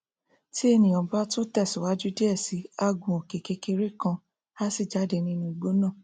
tí ènìà bá tún tẹ síwájú diẹ sí i á gun òkè kékeré kan á sì jáde nínú igbó náà